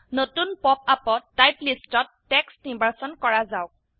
নতুন পপআপত টাইপ লিস্টত টেক্সট নিৰ্বাচন কৰা যাওক